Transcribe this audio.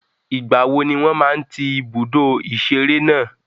Ìgbàwo ni wọ́n máa ń tí ibùdó ìṣeré náà?